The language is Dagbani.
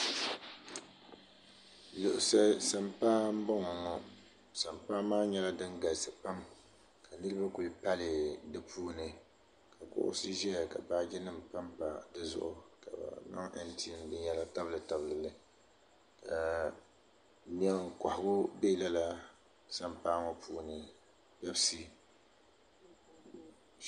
sampaa m-bɔŋɔ sampaa maa nyɛla din galisi pam ka niriba kuli pali di puuni ka kuɣisi ʒɛya ka baajinima pampa di zuɣu ka bɛ zaŋ binyera n-tabilitabili li ɛɛh leen' kɔhigu be lala sampaa ŋɔ puuni